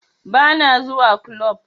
Ba na zuwa kulob